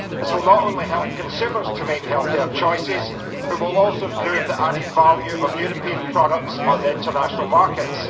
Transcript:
This will not only help consumers to make healthier choices, but also improve the added value of European products on the international markets.